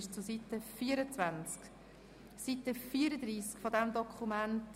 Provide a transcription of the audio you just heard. Zu Seite 34 dieses Dokuments: